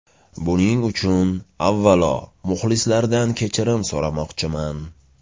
Buning uchun, avvalo, muxlislardan kechirim so‘ramoqchiman.